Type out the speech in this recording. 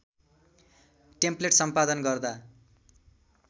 template सम्पादन गर्दा